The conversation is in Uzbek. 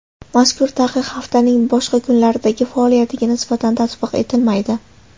Mazkur taqiq haftaning boshqa kunlaridagi faoliyatga nisbatan tatbiq etilmaydi.